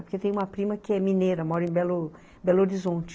Porque tem uma prima que é mineira, mora em, Belo, Belo Horizonte.